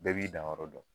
Bɛɛ b'i danyɔrɔ dɔn